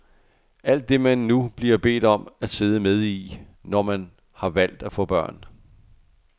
Alt det man nu bliver bedt om at sidde med i, når man har valgt at få børn.